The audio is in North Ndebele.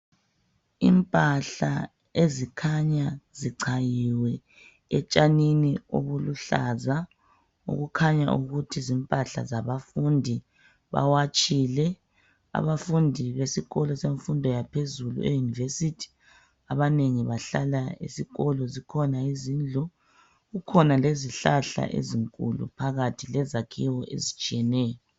Impahla ezikhanya zicayiwe etshanini ebuluhlaza okukhanya ukuthi zimpahla zabafundi bawatshile abafundi besikolo semfundo yaphezulu eyunivesithi abanengi bahlala esikho zikhona izindlu kukhona lezihlahla ezinkulu phakathi lezakhiwo ezitshiyeneyo.